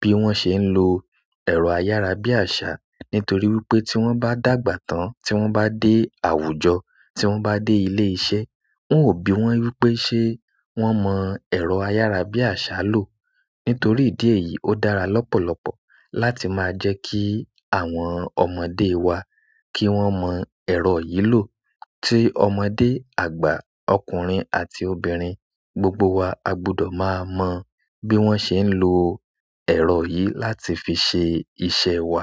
bí wọ́n ṣe ń lo ẹ̀rọ ayárabíàṣá. Nítorí wípé tí wọ́n bá dàgbà tán tí wọ́n bá dé àwùjọ, tí wọ́n bá dé ilé iṣẹ́, wọn ò bi wọ́n wípé ṣé wọ́n mọ ẹ̀rọ ayárabíàṣá lò. Nítorí ìdí èyí, ó dára lọ́pọ̀lọpọ̀ láti máa jẹ́ kí àwọn ọmọdé wa kí wọ́n mọ ẹ̀rọ yìí lò. Tí ọmọdé, àgbà, ọkùnrin àti obìnrin, gbogbo wa a gbọdọ̀ máa mọ bí wọ́n ṣe ń lo ẹ̀rọ yìí láti fi ṣe iṣẹ́ wa.